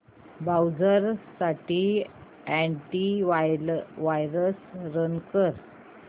browser साठी anti virus run कर